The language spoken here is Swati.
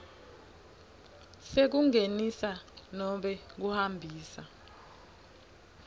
sekungenisa nobe kuhambisa